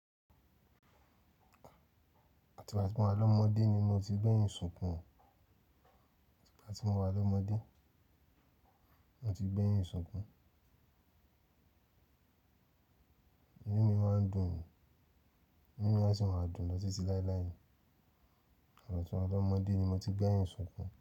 Àti ìgbà tí mo wà lọ́mọdé ni mo ti gbẹ́yìn ṣùkún, gbàti ti mo wà lọ́mọdé mo ti gbẹ́yìn ṣùkún. Inu mi máa ń dùn ni, ínu mi asi máa dùn lọ ti ti láéláé ni. Igbà tí mo wà lọ́mọdé ni mo ti gbẹ́yìn ṣùkún.